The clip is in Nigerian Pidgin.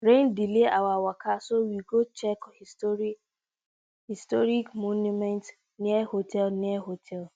rain delay our waka so we go check historic monument near hotel near hotel